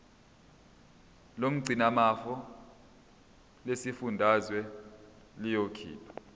lomgcinimafa lesifundazwe liyokhipha